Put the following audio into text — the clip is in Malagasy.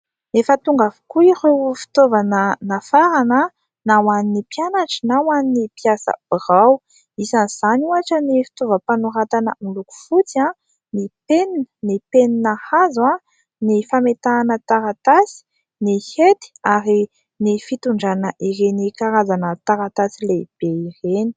Efa tonga avokoa ireo fitaovana nafarana, na ho an'ny mpianatra na ho an'ny mpiasa birao, isan'izany ohatra : ny fitaovam-panoratana miloko fotsy, ny penina hazo, ny fametahana taratasy, ny hety ary ny fitondrana ireny karazana taratasy lehibe ireny.